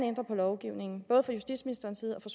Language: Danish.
ændre på lovgivningen både fra justitsministerens side og fra